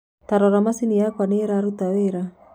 Tarora machĩnĩ yakwa niĩrarũta wĩra